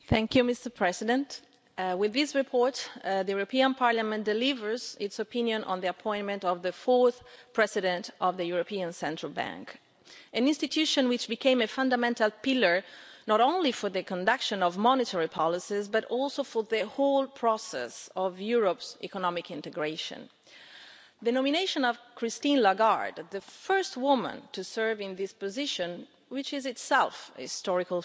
Mr President, with this report the European Parliament delivers its opinion on the appointment of the fourth President of the European Central Bank an institution which became a fundamental pillar not only for the conduct of monetary policies but also for the whole process of Europe's economic integration. The nomination of Christine Lagarde as the first woman to serve in this position, which is itself something historic,